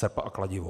Srp a kladivo.